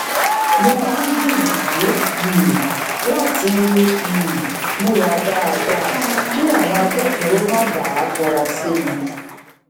mo máa ń gbiyanju um lati um múra dáadáa kí àwọn agbofinro má bàa fura sí mi